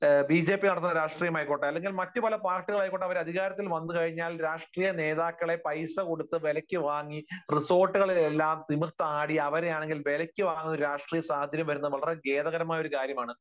BJP നടത്തുന്ന രാഷ്ട്രീയമായിക്കോട്ടെ, അല്ലെങ്കിൽ മറ്റു പല പാർട്ടികളായിക്കോട്ടെ അവർ അധികാരത്തിൽ വന്നു കഴിഞ്ഞാൽ രാഷ്ട്രീയ നേതാക്കളെ പൈസകൊടുത്തു വിലയ്ക്കുവാങ്ങി റിസോർട്ടുകളിലെല്ലാം തിമിർത്താടി അവരെയാണെങ്കിൽ വിലയ്ക്ക് വാങ്ങുന്ന ഒരു രാഷ്ട്രീയ സാഹചര്യം വരുന്നത് വളരെ ഖേദകരമായ ഒരു കാര്യമാണ്.